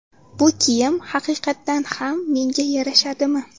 Bu kiyim haqiqatdan ham menga yarashadimi?